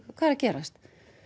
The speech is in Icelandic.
hvað er að gerast